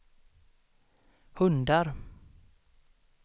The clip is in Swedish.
hundar